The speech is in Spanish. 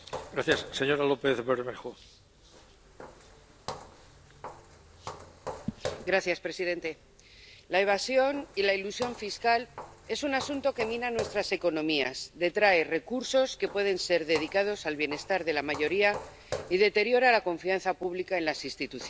Señor presidente, la evasión y la elusión fiscales es un asunto que mina nuestras economías, detrae recursos que pueden ser dedicados al bienestar de la mayoría y deteriora la confianza pública en las instituciones.